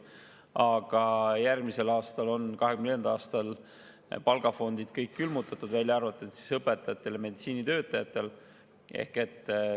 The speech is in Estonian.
Aga järgmisel aastal, 2024. aastal on kõik palgafondid külmutatud, välja arvatud õpetajatel ja meditsiinitöötajatel.